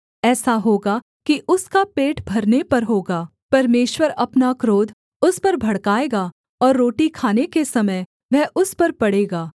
ऐसा होगा कि उसका पेट भरने पर होगा परमेश्वर अपना क्रोध उस पर भड़काएगा और रोटी खाने के समय वह उस पर पड़ेगा